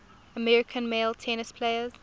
american male tennis players